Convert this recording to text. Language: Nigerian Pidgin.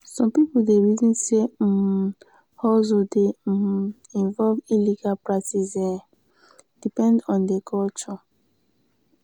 some pipo dey reason sey um hustle dey um involve illegal practice e depend on di culture.